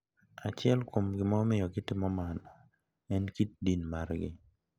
Achiel kuom gima omiyo gitimo mano en kit din margi.